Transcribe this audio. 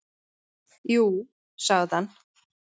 """Jú, sagði hann."""